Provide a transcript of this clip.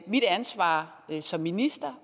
mit ansvar som minister